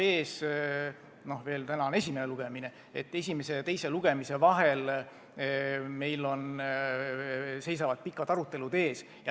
Täna on läbi esimene lugemine ning esimese ja teise lugemise vahel seisavad ees pikad arutelud.